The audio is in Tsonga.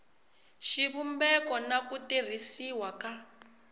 xivumbeko na ku tirhisiwa ka